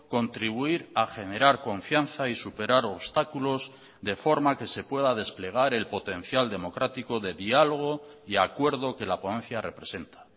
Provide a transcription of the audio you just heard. contribuir a generar confianza y superar obstáculos de forma que se pueda desplegar el potencial democrático de diálogo y acuerdo que la ponencia representa